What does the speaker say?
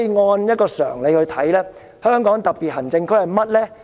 按常理來理解，香港特別行政區是甚麼？